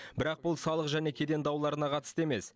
бірақ бұл салық және кеден дауларына қатысты емес